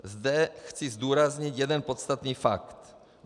Zde chci zdůraznit jeden podstatný fakt.